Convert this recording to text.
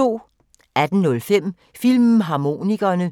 18:05: Filmharmonikerne